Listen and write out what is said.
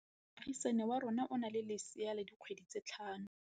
Moagisane wa rona o na le lesea la dikgwedi tse tlhano.